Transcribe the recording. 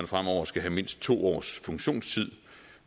fremover skal have mindst to års funktionstid